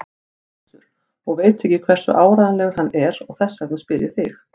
Össur og veit ekki hversu áreiðanlegur hann er og þess vegna spyr ég þig.